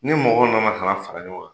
Ni mɔgɔw nana ka na fara ɲɔgɔn kan